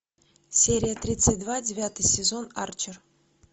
серия тридцать два девятый сезон арчер